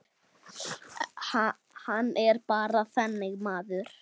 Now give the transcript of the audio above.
Hann er bara þannig maður.